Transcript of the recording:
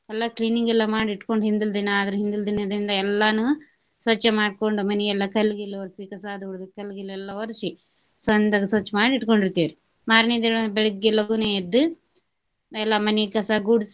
ಎಲ್ಲಾ cleaning ಎಲ್ಲ ಮಾಡಿ ಇಟ್ಕೊಂಡ ಹಿಂದಿಲ್ ದಿನಾ ಅದರ ಹಿಂದಿಲ್ ದಿನದಿಂದ ಎಲ್ಲಾನು ಸ್ವಚ್ಛ ಮಾಡ್ಕೊಂಡ ಮನಿ ಎಲ್ಲ ಕಲ್ಲ್ ಗಿಲ್ಲು ವರ್ಸಿ ಕಸಾದು ಹೊಡದು ಕಲ್ಲ ಗಿಲ್ಲ ಎಲ್ಲಾ ವರ್ಸಿ ಚಂದಗ ಸ್ವಚ್ಛ ಮಾಡಿ ಇಟ್ಕೊಂಡಿರ್ತೆವ್ರಿ. ಮಾರ್ನೆ ದಿನ ಬೆಳಗ್ಗೆ ಲಘುನ ಎದ್ದ ಎಲ್ಲ ಮನಿ ಕಸಾ ಗುಡ್ಸಿ.